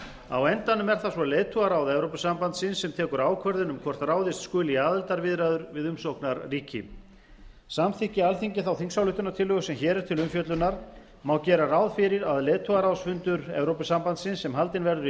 á endanum er það svo leiðtogaráð evrópusambandsins sem tekur ákvörðun um hvort ráðist skuli í aðildarviðræður við umsóknarríki samþykki alþingi þá þingsályktunartillögu sem hér er til umfjöllunar má gera ráð fyrir að leiðtogaráðsfundur evrópusambandsins sem haldinn verður í